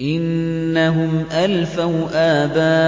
إِنَّهُمْ أَلْفَوْا آبَاءَهُمْ